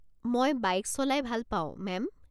মই বাইক চলাই ভাল পাওঁ, মেম।